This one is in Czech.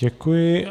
Děkuji.